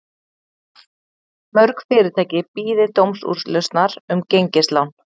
Mörg fyrirtæki bíði dómsúrlausnar um gengislán